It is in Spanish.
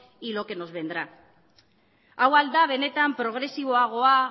y lo que nos vendrá hau ahal da benetan progresiboagoa